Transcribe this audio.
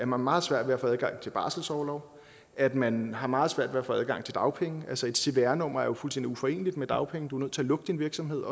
meget svært ved at få adgang til barselsorlov at man har meget svært ved at få adgang til dagpenge altså et cvr nummer er jo fuldstændig uforeneligt med dagpenge du er nødt til at lukke din virksomhed